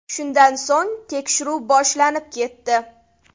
Shundan so‘ng tekshiruv boshlanib ketdi.